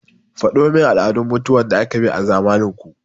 Faɗo min al'adun mutuwan da aka bi a zamanin ku!